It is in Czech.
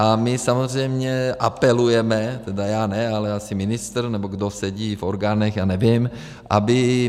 A my samozřejmě apelujeme, tedy já ne, ale asi ministr, nebo kdo sedí v orgánech, já nevím, aby...